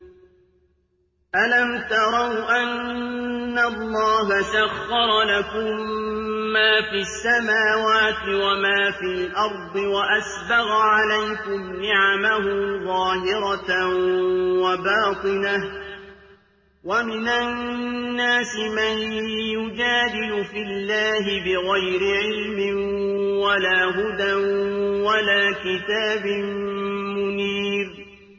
أَلَمْ تَرَوْا أَنَّ اللَّهَ سَخَّرَ لَكُم مَّا فِي السَّمَاوَاتِ وَمَا فِي الْأَرْضِ وَأَسْبَغَ عَلَيْكُمْ نِعَمَهُ ظَاهِرَةً وَبَاطِنَةً ۗ وَمِنَ النَّاسِ مَن يُجَادِلُ فِي اللَّهِ بِغَيْرِ عِلْمٍ وَلَا هُدًى وَلَا كِتَابٍ مُّنِيرٍ